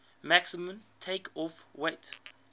maximum takeoff weight